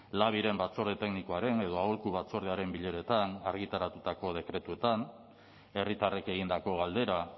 labiren batzorde teknikoaren edo aholku batzordearen bileretan argitaratutako dekretuetan herritarrek egindako galdera